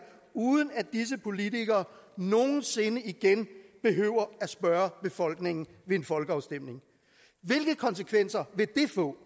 uden at disse politikere nogen sinde igen behøver at spørge befolkningen ved en folkeafstemning hvilke konsekvenser vil det få